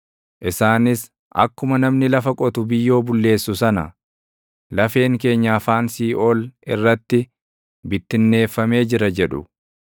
Isaanis, “Akkuma namni lafa qotu biyyoo bulleessu sana, lafeen keenya afaan siiʼool irratti bittinneeffamee jira” jedhu.